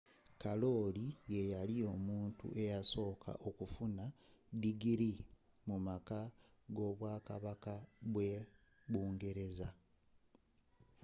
kalooli yeyali omuntu eyasooka okufuna digili mu maka g'obwakabaka bwe britain